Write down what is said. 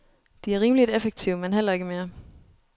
De er rimeligt effektive, men heller ikke mere.